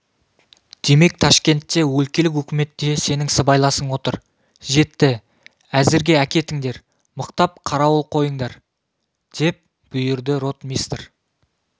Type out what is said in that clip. демек ташкентте өлкелік өкіметте сенін сыбайласың отыр жетті әзірге әкетіңдер мықтап қарауыл қойындар деп бұйырды ротмистр